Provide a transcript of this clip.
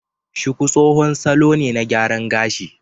Shuku tsohon salo ne na gyaran gashi